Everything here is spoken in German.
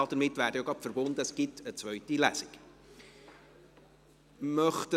Damit wäre auch gleich verbunden, dass es eine zweite Lesung gibt.